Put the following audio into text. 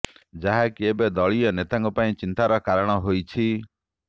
ଯାହାକି ଏବେ ଦଳୀୟ ନେତାଙ୍କ ପାଇଁ ଚିନ୍ତାର କାରଣ ହୋଇଛି